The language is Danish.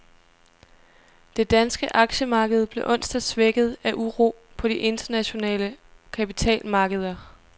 Det danske aktiemarked blev onsdag svækket af uro på de internationale kapitalmarkeder.